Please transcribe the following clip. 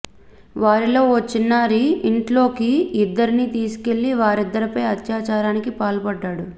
వారిలో ఓ చిన్నారి ఇంట్లోకి ఇద్దరినీ తీసుకెళ్లి వారిద్దరిపై అత్యాచారానికి పాల్పడ్డాడు